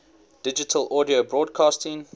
digital audio broadcasting